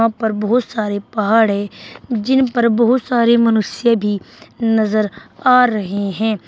ऊपर बहुत सारे पहाड़ है जिन पर बहुत सारे मनुष्य भी नजर आ रहे हैं।